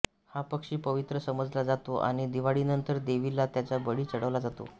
हा पक्षी पवित्र समजला जातो आणि दिवाळीनंतर देवीला त्याचा बळी चढवला जातो